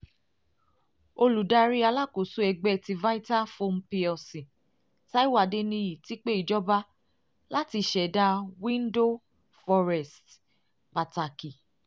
olùdarí alákòóso ẹgbẹ́ ti vitafoam plc taiwo adeniyi ti pe ijọba lati ṣẹda window forest pataki